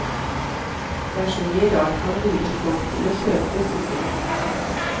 Det er så mye rart man lurer folk til å kjøpe, sukker han.